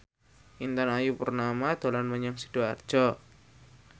Intan Ayu Purnama dolan menyang Sidoarjo